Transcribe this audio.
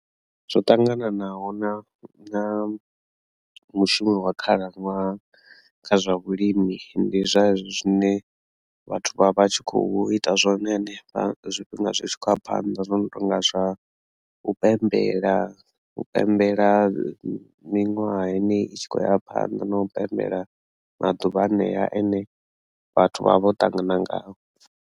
Zwo ṱangananaho na na mushumo wa khalaṅwaha kha zwa vhulimi ndi zwa hezwi zwine vhathu vha vha tshi khou ita zwone hanefha zwifhinga zwi tshi khou ya phanḓa zwo no tonga zwa u pembela u pembela miṅwaha yeneyi i tshi khou ya phanḓa na u pembela maḓuvha hanea ane vhathu vha vho ṱangana ngao.